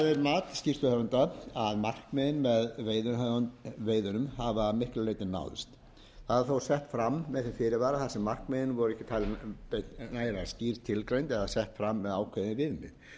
er mat skýrsluhöfunda að markmiðin með veiðunum hafa að miklu leyti náðst það er þó sett fram með þeim fyrirvara þar sem markmiðin voru ekki talin nægilega skýr tilgreind eða sett fram með ákveðin viðmið upp